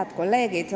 Head kolleegid!